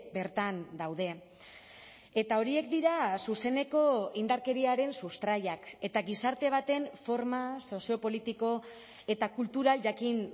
bertan daude eta horiek dira zuzeneko indarkeriaren sustraiak eta gizarte baten forma soziopolitiko eta kultural jakin